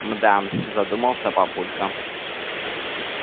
м-да задумался папулька